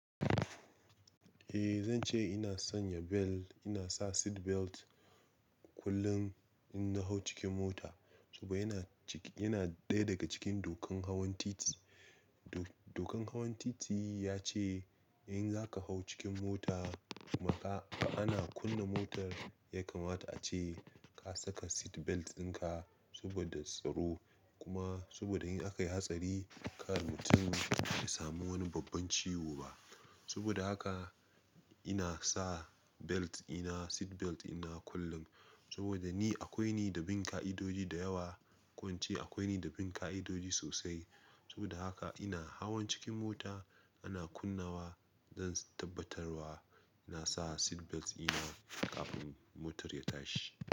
Eh zan ce ina sanya belt, ina sa seat belt kullum in na hau cikin mota saboda yana, yana ɗaya daga cikin dokan hawan titi. Dokan hawan titi ya ce in za ka hau cikin mota kuma ka, ana kunna motar yakamata ce ka saka seat belt ɗinka saboda tsaro. Kuma saboda in aka yi hatsari kar mutum ya samu wani babban ciwo ba. Saboda haka ina sa belt ina, seat belt ina kullum. Saboda ni akwai ni da bin ka'idoji da yawa, ko ince akwai ni da bin ka'idoji sosai. Saboda haka ina hawan cikin mota ana kunnawa zan tabbatarwa na sa seat belt ina kafin motar ya tashi.